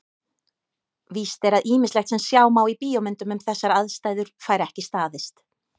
Víst er að ýmislegt sem sjá má í bíómyndum um þessar aðstæður fær ekki staðist.